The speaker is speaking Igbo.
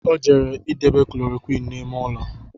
Ọ jere idebe Koloroqini n’ime ụlọ